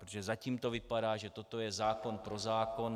Protože zatím to vypadá, že toto je zákon pro zákon.